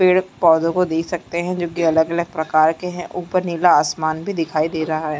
पेड़-पौधो को देख सकते है जो की अलग-अलग प्रकार के है उपर नीला आसमान भी दिखे दे रहा है।